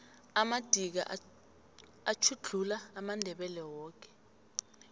amadika atjhuglula amandebele woke